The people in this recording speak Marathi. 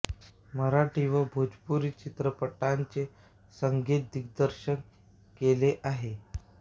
मराठी व भोजपुरी चित्रपटांचे संगीत दिग्दर्शन केले आहे